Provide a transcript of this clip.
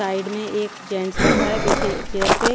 side में एक gents बैठा हैं पीछे चेयर पे--